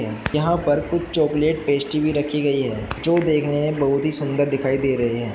यहां पर कुछ चॉकलेट पेस्ट्री भी रखी गई है जो देखने में बहुत ही सुंदर दिखाई दे रही है।